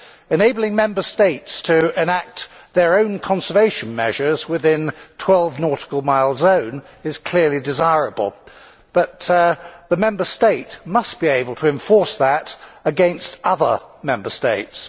Enabling Member States to enact their own conservation measures within a 12 nautical mile zone is clearly desirable, but the Member State must be able to enforce that against other Member States.